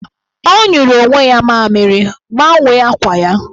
Ọ nyụrụ onwe ya mamịrị, gbanwee akwa ya!